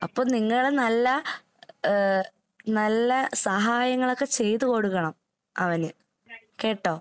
അപ്പൊ നിങ്ങള് നല്ല ഏഹ് നല്ല സഹായങ്ങളൊക്കെ ചെയ്ത് കൊടുക്കണം അവന്, കേട്ടോ?